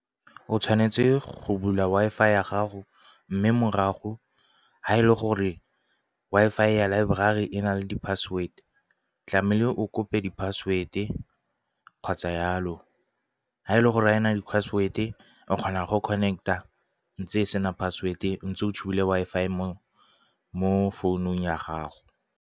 O tshwanetse go bula Wi-Fi ya gago, mme morago ha e le gore Wi-Fi ya laeborari e na le di-password tlamehile o kope di-password-e kgotsa yalo. Ha e le gore wena di ka password-e o kgonang go connect-a ntse e sena password e ntse o tshubile Wi-Fi mo founung ya gago.